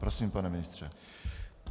Prosím, pane ministře.